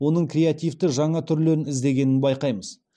оның креативті жаңа түрлерін іздегенін байқаймыз